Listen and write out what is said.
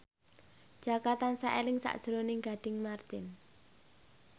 Jaka tansah eling sakjroning Gading Marten